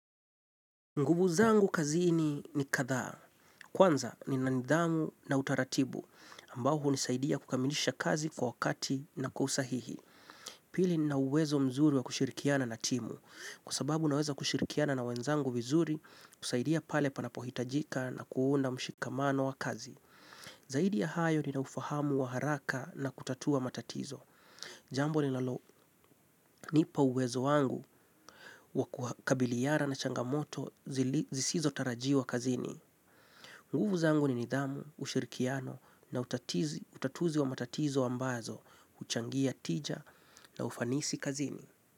Nguvu zangu kazini ni kadhaa. Kwanza nina nidhamu na utaratibu ambao hunisaidia kukamilisha kazi kwa wakati na kwa usahihi. Pili nina uwezo mzuri wa kushirikiana na timu. Kwa sababu naweza kushirikiana na wenzangu vizuri kusaidia pale panapohitajika na kuunda mshikamano wa kazi. Zaidi ya hayo nina ufahamu wa haraka na kutatua matatizo. Jambo linalonipa uwezo wangu wa kukabiliana na changamoto zisizo tarajiwa kazini. Nguvu zangu ni nidhamu, ushirikiano na utatuzi wa matatizo ambazo, huchangia tija na ufanisi kazini.